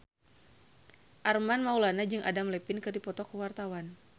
Armand Maulana jeung Adam Levine keur dipoto ku wartawan